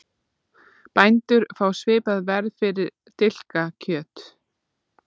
Bændur fá svipað verð fyrir dilkakjöt